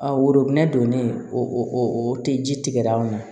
A woro donnen o o tɛ ji tigɛra anw na